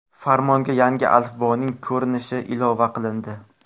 Farmonga yangi alifboning ko‘rinishi ilova qilindi.